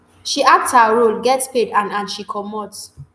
she act her role get paid and and she comot